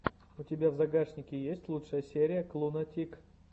у тебя в загашнике есть лучшая серия клуна тик